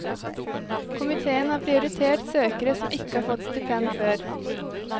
Komiteen har prioritert søkere som ikke har fått stipend før.